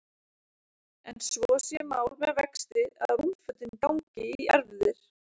En svo sé mál með vexti að rúmfötin gangi í erfðir.